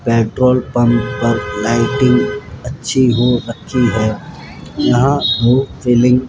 petrol pump पर lighting अच्छी हो रखी है यहां वो फीलिंग --